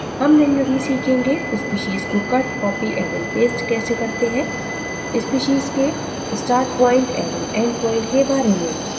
हम निम्न भी सीखेंगें species को cut copy एवं paste कैसे करते हैं species के startpoint एवं endpoint के बारे में